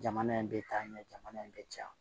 Jamana in bɛ taa ɲɛ jamana in bɛ caya